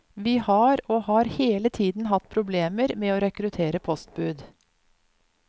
Vi har og har hele tiden hatt problemer med å rekruttere postbud.